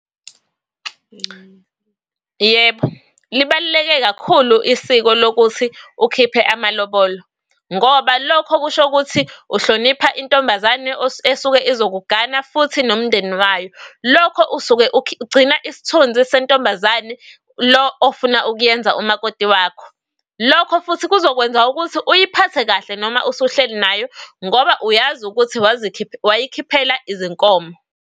Yebo, libaluleke kakhulu isiko lokuthi ukhiphe amalobolo ngoba lokho kusho ukuthi uhlonipha intombazane esuke izokugana futhi nomndeni wayo. Lokho usuke ugcina isithunzi sentombazane lo ofuna ukuyenza umakoti wakho. Lokho futhi kuzokwenza ukuthi uyiphathe kahle noma usuhleli nayo ngoba uyazi ukuthi , wayikhiphela izinkomo.